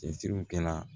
Cɛsiriw kɛla